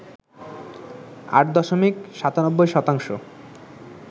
৮ দশমিক ৯৭ শতাংশ